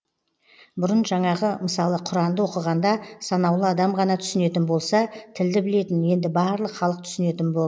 бұрын жаңағы мысалы құранды оқығанда санаулы адам ғана түсінетін болса тілді білетін енді барлық халық түсінетін бол